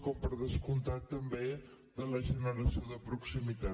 com per descomptat també de la generació de proximitat